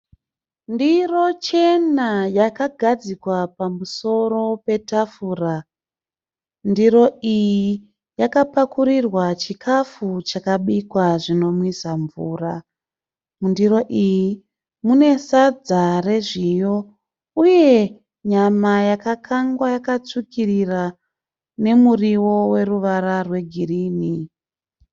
Ndiro chena yakagadzikwa pamusoro petafura. Ndiro iyi yakapakurirwa chikafu chakabikwa zvinomwisa mvura. Mundiro iyi mune sadza rezviyo uye nyama yakakangwa ikatsvukirira nemuriwo une ruvara rwegirinhi.